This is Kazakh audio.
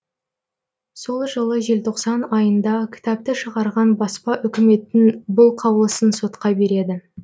сол жылы желтоқсан айында кітапты шығарған баспа үкіметтің бұл қаулысын сотқа береді